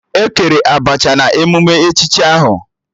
E kere Abacha na emume echichi ahụ